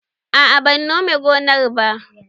Aa ban nome gonar ba